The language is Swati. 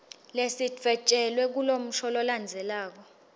lesidvwetjelwe kulomusho lolandzelako